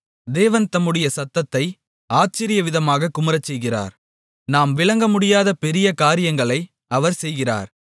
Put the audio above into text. தேவன் தம்முடைய சத்தத்தை ஆச்சரியவிதமாகக் குமுறச் செய்கிறார் நாம் விளங்கமுடியாத பெரிய காரியங்களை அவர் செய்கிறார்